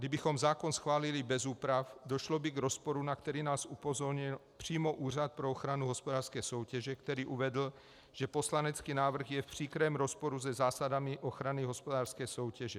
Kdybychom zákon schválili bez úprav, došlo by k rozporu, na který nás upozornil přímo Úřad pro ochranu hospodářské soutěže, který uvedl, že poslanecký návrh je v příkrém rozporu se zásadami ochrany hospodářské soutěže.